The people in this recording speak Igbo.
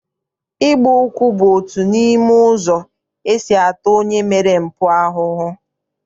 Ịgba ụkwụ bụ otu n'ime ụzọ esi ata onye mere mpụ ahụhụ.